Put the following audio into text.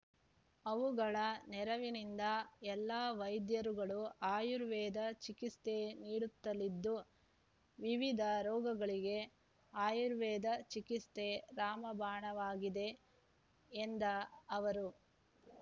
ಅವುಗಳ ನೆರವಿನಿಂದ ಎಲ್ಲಾ ವೈದ್ಯರುಗಳು ಅಯುರ್ವೇದ ಚಿಕಿಸ್ತೆ ನೀಡುತ್ತಲಿದ್ದು ವಿವಿಧ ರೋಗಗಳಿಗೆ ಆಯುರ್ವೇದ ಚಿಕಿಸ್ತೆ ರಾಮಬಾಣವಾಗಿದೆ ಎಂದ ಅವರು